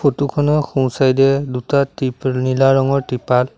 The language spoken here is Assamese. ফটো খনৰ সোঁ-চাইডে এ দুটা তিপ নীলা ৰঙৰ তিপাল--